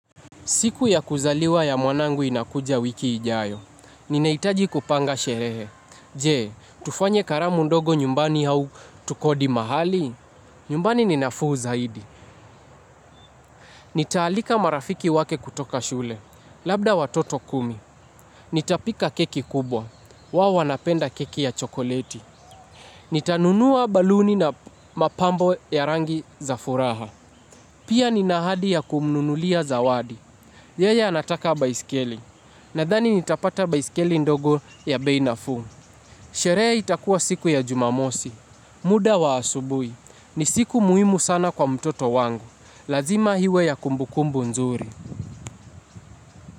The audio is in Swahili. Siku ya kuzaliwa ya mwanangu inakuja wiki ijayo. Ninaitaji kupanga sherehe. Jee, tufanye karamu ndogo nyumbani hau tukodi mahali? Nyumbani ninafu zaidi. Nitaalika marafiki wake kutoka shule. Labda watoto kumi. Nitapika keki kubwa. Wao wanapenda keki ya chokoleti. Nitanunua baluni na mapambo ya rangi za furaha. Pia nina ahadi ya kumnunulia zawadi. Yeye anataka baiskeli. Nadhani nitapata baiskeli ndogo ya bei nafuu. Sherehe itakuwa siku ya Jumamosi. Muda wa asubuhi. Ni siku muhimu sana kwa mtoto wangu. Lazima iwe ya kumbukumbu nzuri.